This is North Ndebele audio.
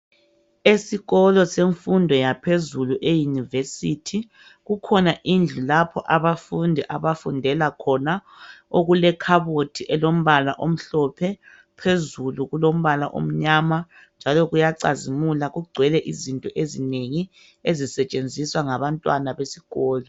Esikolo semfundo yaphezulu eyunivesithi kukhona indlu lapho abafundi abafundela khona, okulekhabothi elombala omhlophe phezulu kulombala omnyama, njalo kuyacazimula kugcwele izinto ezinengi ezisetshenziswa ngabantwana besikolo.